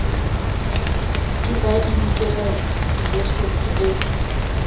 ke ba inkela filosofi e